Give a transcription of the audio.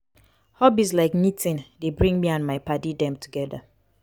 hobbies like knitting dey bring me and my paddy dem togeda.